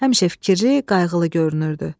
Həmişə fikirli, qayğılı görünürdü.